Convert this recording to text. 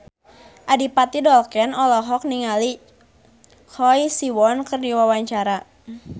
Adipati Dolken olohok ningali Choi Siwon keur diwawancara